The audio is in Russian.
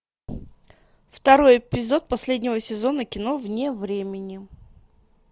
второй эпизод последнего сезона кино вне времени